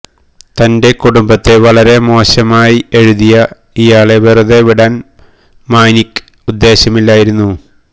തന്റെ കുടുംബത്തെ വരെ മോശമായി എഴുതിയ ഇയാളെ വെറുതെ വിടാന് മാനിക്ക് ഉദ്ദേശമില്ലായിരുന്നു